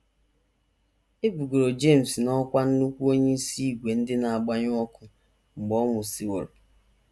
E bugoro James n’ọkwá nnukwu onyeisi ìgwè ndị na - agbanyụ ọkụ mgbe ọ nwụsịworo.